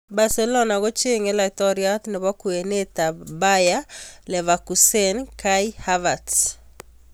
[All-Nigeria Soccer] Barcelona kochenge laitoriat nebo kwenet ab Bayer Leverkusen Kai Havertz.